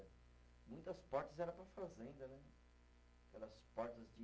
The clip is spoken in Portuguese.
Muitas portas era para fazenda, né? Aquelas portas de